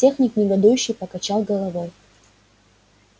техник негодующе покачал головой